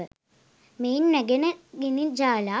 මෙයින් නැගෙන ගිනි ජාලා